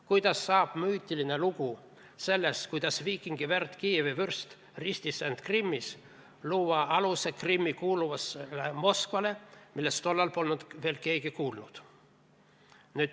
Kuidas saab müütiline lugu sellest, kuidas viikingi verd Kiievi vürst ristis end Krimmis, luua aluse Krimmi kuulumisele Moskvale, millest tollal polnud veel keegi kuulnud?